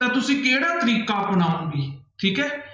ਤਾਂ ਤੁਸੀਂ ਕਿਹੜਾ ਤਰੀਕਾ ਅਪਣਾਓਗੇ ਠੀਕ ਹੈ।